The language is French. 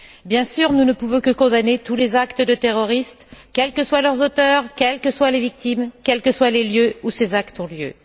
Bien sûr, nous ne pouvons que condamner tous les actes terroristes, quels que soient leurs auteurs, quelles qu'en soient les victimes, quels que soient les lieux où ces actes ont lieu.